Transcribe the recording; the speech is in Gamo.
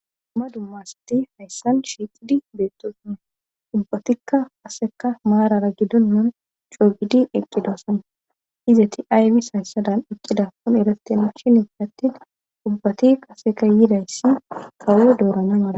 Dumma dumma asati hayssan shiiqidi beettoosana ubbatikka aseka maarara gidonnan coogidi eqqidoosan izati aybis hayssadan eqqida kon erefteme shinit attin ubbati qaseka yidayssi kawo doorana mala